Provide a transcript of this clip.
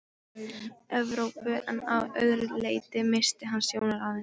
Evrópu en að öðru leyti missti hann sjónar af henni.